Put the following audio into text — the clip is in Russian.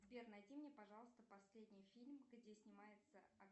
сбер найди мне пожалуйста последний фильм где снимается